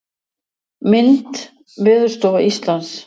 Mynd: Veðurstofa Íslands.